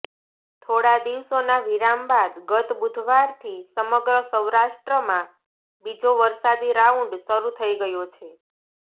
થોડા દિવસોના વિરામ બાદ ગત બુધવારથી સમગ્ર સૌરાષ્ટ્રમાં બીજો વરસાદી રાઉન્ડ શરૃ થઈ ગયો છે